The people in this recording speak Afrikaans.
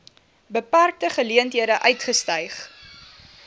beperkte geleenthede uitgestyg